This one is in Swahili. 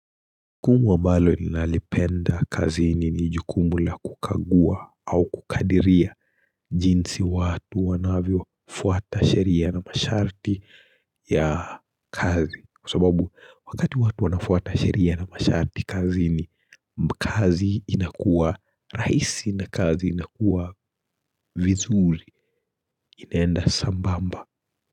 Jukumu ambalo ninalipenda kazini ni jukumu la kukagua au kukadiria jinsi watu wanavyofuata sheria na masharti ya kazi Kwa sababu wakati watu wanafuata sheria na masharti kazi ni kazi inakuwa raisi na kazi inakuwa vizuri inaenda sambamba.